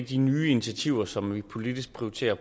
de nye initiativer som vi politisk prioriterer